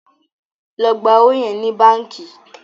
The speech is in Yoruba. ló gbà owo yẹ ní bánkì!